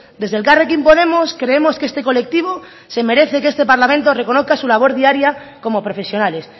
desde elkarrekin podemos creemos que este colectivo se merece que este parlamento reconozca su labor diaria como profesionales